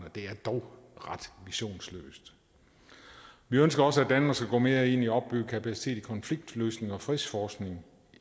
dog ret visionsløst vi ønsker også at danmark skal gå mere ind i at opbygge kapacitet i konfliktløsning og fredsforskning